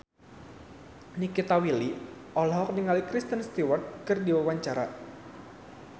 Nikita Willy olohok ningali Kristen Stewart keur diwawancara